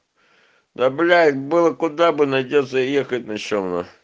да блять было куда бы найдётся ехать на чем нахуй